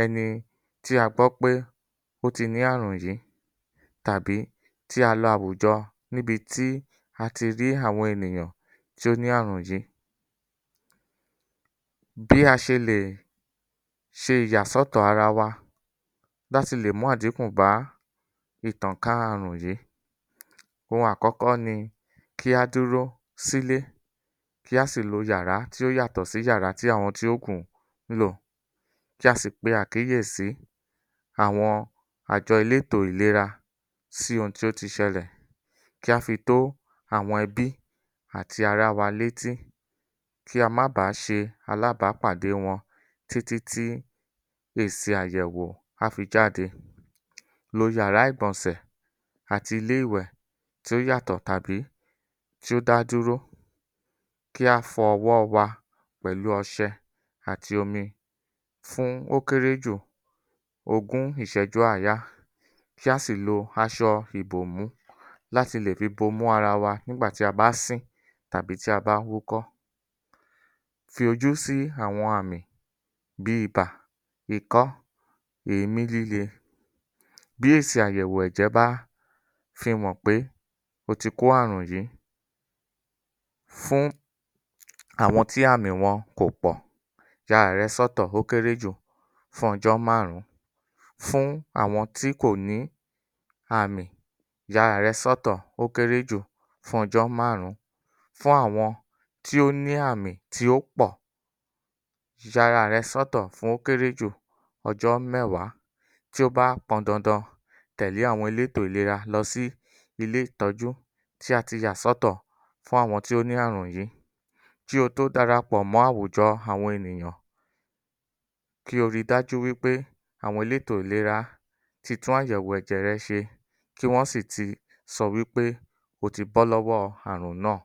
ẹi tí a gbọ́ pé ẹni tí a gbọ́ pé ó ti ní àrùn yìí tàbí tí a lọ àwùjọ níbi tí a ti rí àwọn ènìyàn tí ó ní àrùn yìí, bí a ṣe lè ṣe ìyàsọ́tọ̀ ara wa láti lè mú àdínkù bá ìtànká àrùn yìí. Ohun àkọ́kọ́ ni kí á dúró sílé, kí á sì lo yàrá tí ó yàtọ̀ sí yàrá tí ó yàtọ̀ tí àwọn tí ó kù ńlò, kí a sì pe àkíyèsí àwọn àjọ elétò ìlera sí ohun tí ó tí sẹlẹ̀. Kí á fi tó àwọn ẹbí àti ará wa ní etí kí a má ba ṣe alábàpàdé wọn tí tí tí èsì àyèwò á fí jáde. Lo yàrá ìgbọ̀nsẹ̀ àti ilé ìwẹ̀ tí ó yàtọ̀ àbí tí ó dá dúró, kí á fọ ọwọ́ wá pẹ̀lu ọṣẹ àti omi fún ó kéré jù ogún ìsẹ́jú àyáá, kí á sì lo asọ ìbòmú láti lò fi bomú ara wa nígbà tía bá sín tàbí tí a bá wúkọ́. Fi ojú sí àwọn àmì bíi ibà, ikọ́, èémí líle. Bí èsì àyẹ̀wò ẹ̀jẹ̀ bá fihàn pé o tí kó àrùn yìí, fún àwọn tí àwọn tí àmì wọn ò pọ̀, ya ara rẹ sọ́tọ̀ ó kéré jù fún ọjọ́ márùn-ún. Fún àwọn tí kò ní àmì, ya ara rẹ sọ́tọ̀, ó kéré jù fún ọjọ́ márùn-ún. Fún àwọn ti ó ní àmì tí ó pọ̀, ya ara rẹ sọ́tọ̀ ó kéré jù, ọjọ́ mẹ́wàá. Tí ó bá pọn dandan, tẹ̀lé àwọn elétò ìlera lọ sí ilé ìtọ́jú tí ati yà sọ́tọ̀ fún àwọn tí ó ní àrùn yìí. Kí o tó darapọ̀ mọ́ àwùjọ àwọn ènìyàn, kí o ri dájú wípé, àwọn elétò ìlera ti tún àyẹ̀wò ẹ̀jẹ̀ rẹ ṣe kí wọn si ti sọ wípé o tí bọ́ lọ́wọ́ àrùn náà.